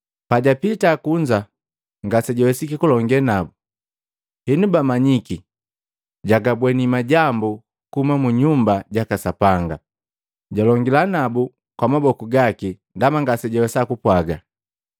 Pajapita kunza, ngasejawesiki kulonge nabu, henu bamanyiki jagabweni majambu kuhuma kwaka mu Nyumba jaka Sapanga. Jalongila nabu kwa maboku gaki ndaba ngasejawesa kupwaga.